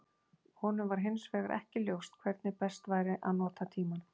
Honum var hins vegar ekki ljóst hvernig best væri að nota tímann.